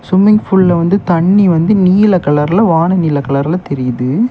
Swimming பூல்ல வந்து தண்ணி வந்து நீல கலர்ல வான நீல கலர்ல தெரியுது.